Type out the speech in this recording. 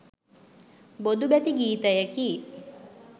බොදු බැති ගීතයකි